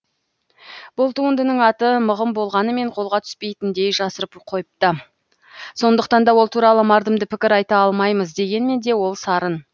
бұл туындының аты мығым болғанымен қолға түспейтіндей жасырып қойыпты сондықтан да ол туралы мардымды пікір айта алмаймыз дегенмен де ол сарын